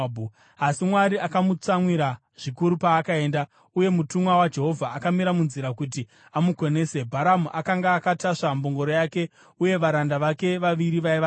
Asi Mwari akamutsamwira zvikuru paakaenda, uye mutumwa waJehovha akamira munzira kuti amukonese. Bharamu akanga akatasva mbongoro yake, uye varanda vake vaviri vaiva naye.